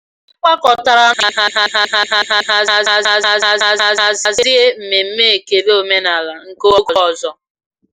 Ha gbakọtara n'ụlọ ezumezu ezumezu obodo iji hazie mmemme ekele omenala nke oge ọzọ